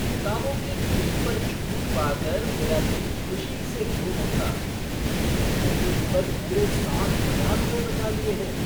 किताबों की खरीद पर छूट पाकर मेरा दिल खुशी से झूम उठा। मैंने तो इन पर पूरे सात हज़ार रुपए बचा लिए हैं!